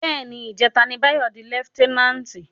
Bè ni, ijètá ni Bayo di lèfitènánti